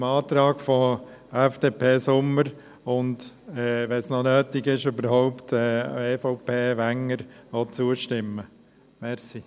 Dem Antrag FDP/Sommer und, wenn es überhaupt noch nötig ist, dem Antrag EVP/Wenger stimmen wir zu.